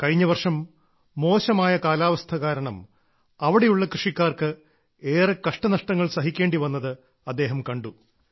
കഴിഞ്ഞ വർഷം മോശമായ കാലാവസ്ഥ കാരണം അവിടെയുള്ള കൃഷിക്കാർക്ക് ഏറെ കഷ്ടനഷ്ടങ്ങൾ സഹിക്കേണ്ടി വന്നത് അദ്ദേഹം കണ്ടു